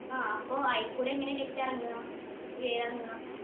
ആ അപ്പൊ അയികൂടെ എങ്ങനെയാ വിത്ത് ഇറങ്ങാ വേര് ഇറങ്ങാ